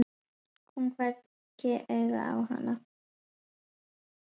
Kom hvergi auga á hana.